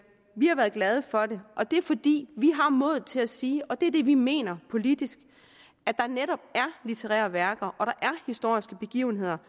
har været glade for det og det er fordi vi har modet til at sige og det er det vi mener politisk at der netop er litterære værker og at der er historiske begivenheder